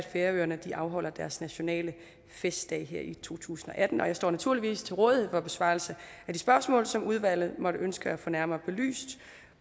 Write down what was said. færøerne afholder deres nationale festdag i to tusind og atten og jeg står naturligvis til rådighed for besvarelse af de spørgsmål som udvalget måtte ønske at få nærmere belyst